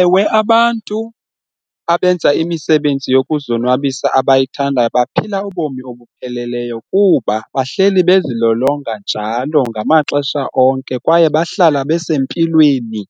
Ewe, abantu abenza imisebenzi yokuzonwabisa abayithandayo baphila ubomi obupheleleyo kuba bahleli bezilolonga njalo ngamaxesha onke kwaye bahlala besempilweni